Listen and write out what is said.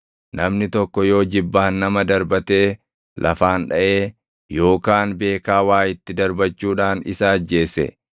Namni tokko yoo jibbaan nama darbatee lafaan dhaʼee yookaan beekaa waa itti darbachuudhaan isa ajjeese,